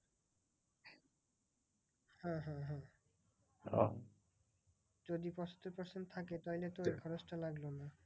যদি পঁচাত্তর percent থাকে তাহলে তো ওই খরচ টা লাগবে না।